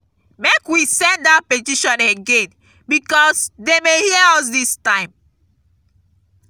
make we send dat petition again because dey may hear us dis time